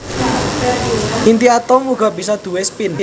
Inti atom uga bisa duwé spin